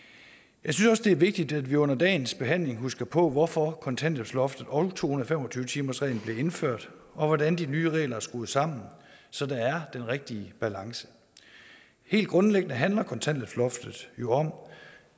jeg synes også det er vigtigt at vi under dagens behandling husker på hvorfor kontanthjælpsloftet og to hundrede og fem og tyve timersreglen blev indført og hvordan de nye regler er skruet sammen så der er den rigtige balance helt grundlæggende handler kontanthjælpsloftet jo om